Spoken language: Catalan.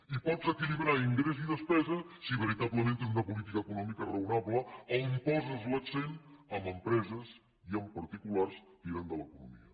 i pots equilibrar ingrés i despesa si veritablement tens una política econòmica raonable on poses l’accent en empreses i en particulars tirant de l’economia